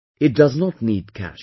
It does not need cash